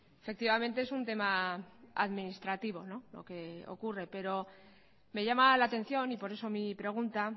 efectivamente es un tema administrativo lo que ocurre pero me llama la atención y por eso mi pregunta